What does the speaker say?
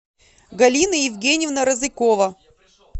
галина евгеньевна розыкова